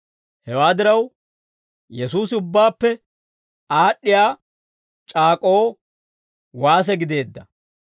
Hewaa diraw, Yesuusi ubbaappe aad'd'iyaa c'aak'k'oo waase gideedda.